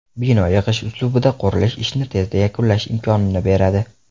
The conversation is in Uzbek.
Bino yig‘ish uslubida qurilishi ishni tezda yakunlash imkonini beradi.